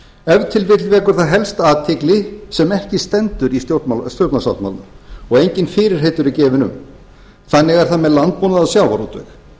vil vill vekur það helsta athygli sem ekki stendur í stjórnarsáttmálanum og engin fyrirheit eru gefin um þannig er það með landbúnað og sjávarútveg